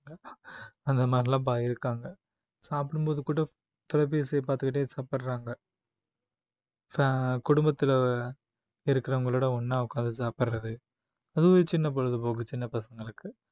அந்த மாதிரிலாம் ப~ இருக்காங்க சாப்பிடும்போது கூட தொலைபேசியை பார்த்துக்கிட்டே சாப்பிடுறாங்க குடும்பத்தில இருக்கிறவங்களோட ஒண்ணா உட்கார்ந்து சாப்பிடுறது அதுவே சின்ன பொழுதுபோக்கு சின்ன பசங்களுக்கு